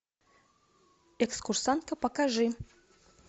экскурсантка покажи